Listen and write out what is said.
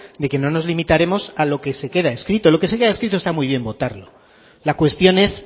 de que no nos limitaremos a lo que se queda escrito lo que se queda escrito está muy bien votarlo la cuestión es